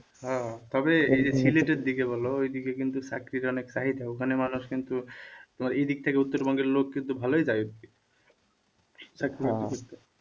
হ্যাঁ তবে এই যে সিলেটের দিকে বলো ওই দিকে কিন্তু চাকরির অনেক চাহিদা ওখানে মানুষ কিন্তু তোমার এই দিক থেকে উত্তরবঙ্গের লোক কিন্তু ও ভালোই যায় ওদিকে